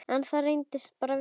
En það reynist vera meira.